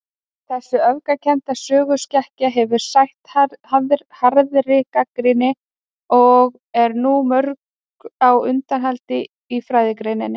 Þessi öfgakennda söguskekkja hefur sætt harðri gagnrýni., og er nú mjög á undanhaldi í fræðigreininni.